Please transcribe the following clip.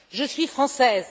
Je suis Française.